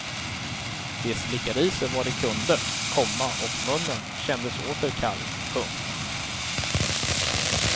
De slickade i sig vad de kunde, komma och munnen kändes åter kall. punkt